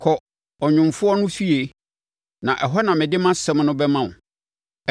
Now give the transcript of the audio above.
“Kɔ ɔnwomfoɔ no efie, na ɛhɔ na mede mʼasɛm no bɛma wo.”